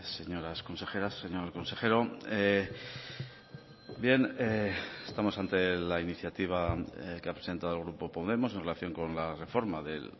señoras consejeras señor consejero bien estamos ante la iniciativa que ha presentado el grupo podemos en relación con la reforma de